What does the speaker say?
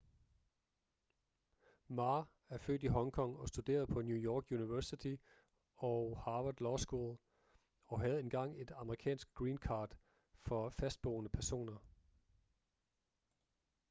ma er født i hong kong og studerede på new york university og harvard law school og havde engang et amerikansk green card for fastboende personer